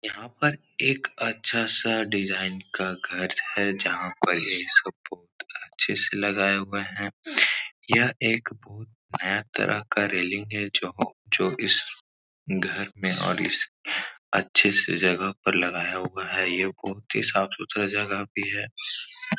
यहाँ पर एक अच्छा सा डिज़ाइन का घर है। जहाँ पर ये स्पोट अच्छे से लगाया हुआ है। यहाँ एक भूत नया तरह का रेलिंग है जो इस घर में और इस अच्छे से जगह पर लगाया हुआ है। यह घुमती साफ सुथरी जगह पे है।